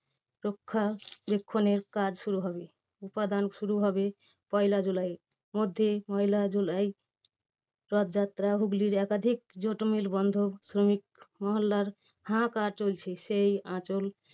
বক্ষাবেক্ষনের কাজ শুরু হবে উপাদান শুরু হবে পয়লা জুলাই মধ্যে পয়লা জুলাই রথযাত্রা হুগলির একাধিক jute mill বন্ধ শ্রমিক মহল্লার হাঁহাকার চলছে সেই আঁচ